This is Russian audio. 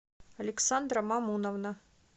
александра мамуновна